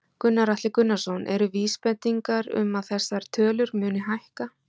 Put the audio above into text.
Gunnar Atli Gunnarsson: Eru vísbendingar um að þessar tölur muni hækka?